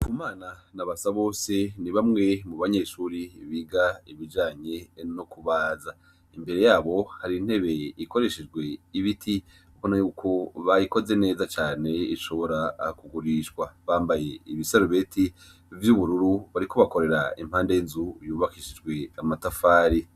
Kumana na Basabose ni bamwe mu banyeshure biga ibijanye nukubaza, imbere yabo har'intebe ikoreshejwe n' ibiti, ubona yuko bayikoze neza caneishobora kugurishwa, bambaye ibisarubeti vy' ubururu bariko bakorera iruhande y' inzu y' ubakishijwe amatafari.